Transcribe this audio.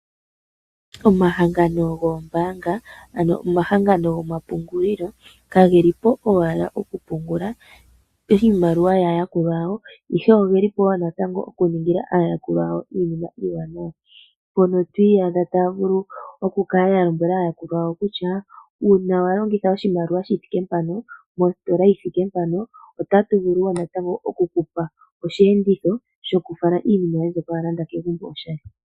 Omahangano goombaanga ano omahangano gomapungulilo ka gelipo owala okupungula iimaliwa yaayakulwa yawo, ihe ogelipo wo natango okuningila aayakulwa yawo iinima iiwanawa. Mpono to iyadha taya vulu okukala ya lombwela aayakulwa yawo kutya uuna wa longitha oshimaliwa shi thike mpano, mositola yi thike mpano ota tu vulu wo natango okukupa oshiyenditho shokufala iinima yoye mbyoka wa landa kegumbo oshali.